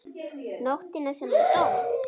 Nóttina sem hann dó?